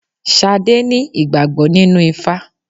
Sadé ní ìgbàgbọ́ nínú ifá.